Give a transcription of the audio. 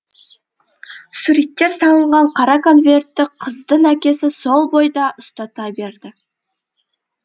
суреттер салынған қара конвертті қыздың әкесі сол бойда ұстата берді